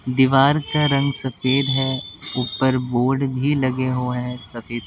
दीवार का रंग सफेद है ऊपर बोर्ड भी लगे हुए हैं सफेद--